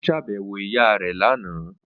Ó ṣàbẹ̀wò ìyá rẹ̀ lánàá